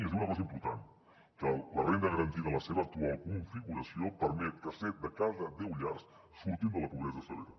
i es diu una cosa important que la renda garantida en la seva actual configuració permet que set de cada deu llars surtin de la pobresa severa